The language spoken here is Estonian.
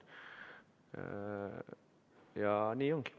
Ja nii ongi.